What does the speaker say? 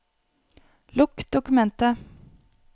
Lukk dokumentet